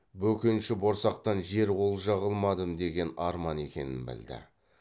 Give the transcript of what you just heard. бөкенші борсақтан жер олжа қылмадым деген арман екенін білді